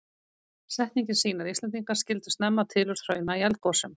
Setningin sýnir að Íslendingar skildu snemma tilurð hrauna í eldgosum.